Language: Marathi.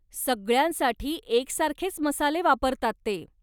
सगळ्यांसाठी एकसारखेच मसाले वापरतात ते.